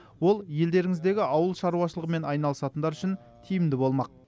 ол елдеріңіздегі ауыл шаруашылығымен айналысатындар үшін тиімді болмақ